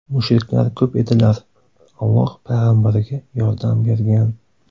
Mushriklar ko‘p edilar, Alloh Payg‘ambariga yordam bergan.